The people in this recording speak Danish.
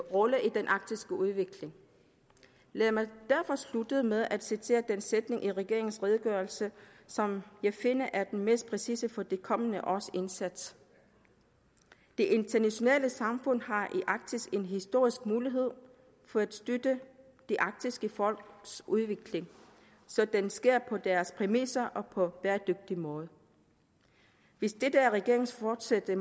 rolle i den arktiske udvikling lad mig derfor slutte med at citere den sætning i regeringens redegørelse som jeg finder er den mest præcise for de kommende års indsats det internationale samfund har i arktis en historisk mulighed for at støtte de arktiske folks udvikling så den sker på deres præmisser og på en bæredygtig måde hvis dette er regeringens fortsatte